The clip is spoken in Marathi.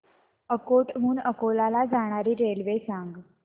अकोट हून अकोला ला जाणारी रेल्वे सांग